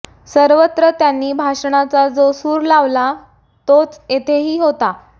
सर्वत्र त्यांनी भाषणाचा जो सूर लावला तोच येथेही होता